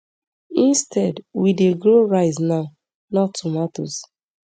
so instead we dey grow rice now not tomatoes